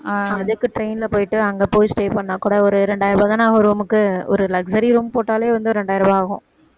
அதுக்கு train ல போயிட்டு அங்க போய் stay பண்ணா கூட ஒரு இரண்டாயிரம் ரூபா தான ஆகும் room க்கு ஒரு luxury room போட்டாலே வந்து இரண்டாயிரம் ரூவா ஆகும்